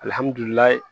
Alihamudulila